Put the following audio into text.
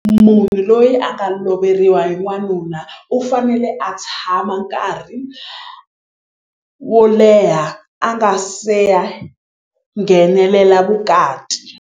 Munhu loyi a nga loveriwa hi n'wanuna u fanele a tshama nkarhi wo leha a nga se ya nghenelela vukati.